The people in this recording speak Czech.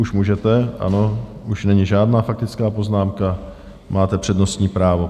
Už můžete, ano, už není žádná faktická poznámka, máte přednostní právo.